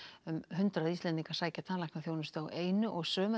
um hundrað Íslendingar sækja tannlæknaþjónustu á einu og sömu